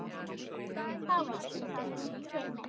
Þá veistu það hér með.